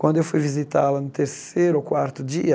Quando eu fui visitá-la no terceiro ou quarto dia,